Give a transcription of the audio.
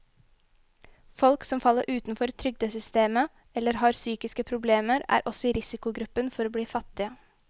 Folk som faller utenfor trygdesystemet eller har psykiske problemer, er også i risikogruppen for å bli fattige.